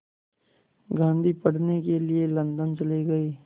गांधी पढ़ने के लिए लंदन चले गए